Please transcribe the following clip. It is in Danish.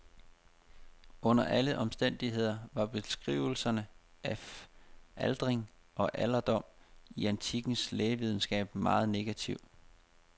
Under alle omstændigheder var beskrivelserne af aldring og alderdom i antikkens lægevidenskab meget negative.